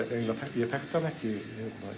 ég þekkti hana ekki